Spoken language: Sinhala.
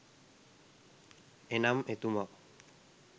එනම් එතුමා